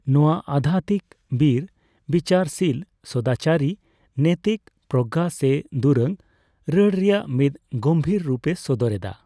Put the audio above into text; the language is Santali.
ᱱᱚᱣᱟ ᱟᱫᱫᱷᱟᱛᱢᱤᱠ, ᱵᱤᱨ, ᱵᱤᱪᱟᱨᱥᱤᱞ, ᱥᱚᱫᱟᱪᱟᱨᱤ, ᱱᱮᱛᱤᱠ ᱯᱨᱚᱜᱜᱟ ᱥᱮ ᱫᱩᱨᱟᱹᱝᱼᱨᱟᱹᱲ ᱨᱮᱭᱟᱜ ᱢᱤᱫ ᱜᱚᱢᱵᱷᱤᱨ ᱨᱩᱯ ᱮ ᱥᱚᱫᱚᱨ ᱮᱫᱟ ᱾